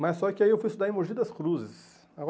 Mas só que aí eu fui estudar em Mogi das Cruzes.